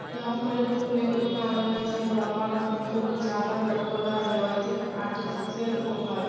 यहो पर फुले के दुकान लगएत हय लाम्बा-लाम्बा फूल के झालर लटकल हय लगेएत हय की आर्टिफिशियल फूल हय।